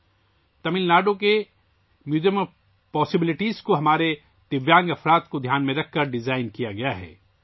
اس طرح تمل ناڈو کے museum of possibilities کو ہمارے دِویانگ جنوں کو دھیان میں رکھ کر ڈیزائن کیا گیا ہے